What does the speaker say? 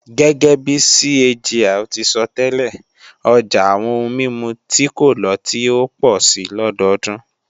Gẹ́gẹ́bi CAGR ti sọtẹ́lẹ̀, ọjà àwọn ohun mímu tí kò lọ́tí ó pọ̀ si lọdọdún